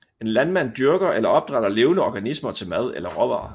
En landmand dyrker eller opdrætter levende organismer til mad eller råvarer